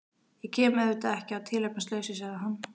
Ég kem auðvitað ekki að tilefnislausu, sagði hann.